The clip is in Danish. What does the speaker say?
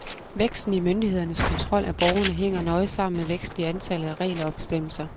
Væksten i myndighedernes kontrol af borgerne hænger nøje sammen med væksten i antallet af regler og bestemmelser.